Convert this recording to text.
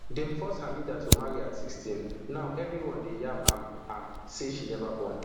dem force hamida to marry at sixteen now everione dey yab am am say she neva born